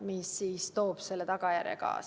Heljo Pikhof, palun!